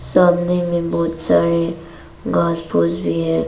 सामने में बहोत सारे घास फूस भी है।